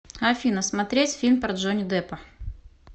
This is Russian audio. афина смотреть фильм про джони деппа